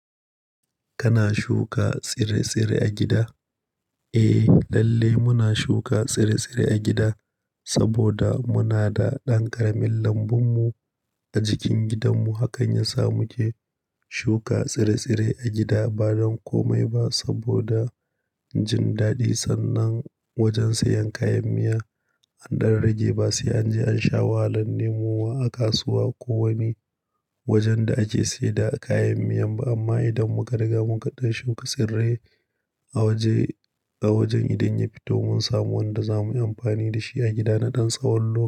Kana shuka tsire-tsire a gida? Eh, lalle muna shuka tsire-tsire a gida saboda muna da ɗan ƙaramin lambun mu a jikin gidan mu. Hakan yasa muke shuka tsire-tsire a gida ba don komai ba saboda jin daɗi sannan wajen siyan kayan miya. An ɗan rage, ba sai an je an sha wahalan nemowa a kasuwa ko wani wajen da ake sayda kayan miya ba. Amma idan muka riga mun kaɗan shuka tsire a waje a wajen, idan ya fito mun samu wanda zamu yi amfani da shi a gida naɗan tsawon lo.